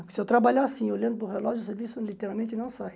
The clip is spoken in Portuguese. Se eu trabalhar assim, olhando para o relógio, o serviço literalmente não sai.